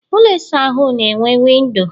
ụlọ ịsa ahụ na enwe windo